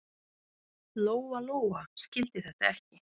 Lóa-Lóa skildi þetta ekki.